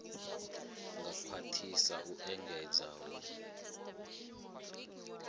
ngea khwathisedza u engedza hue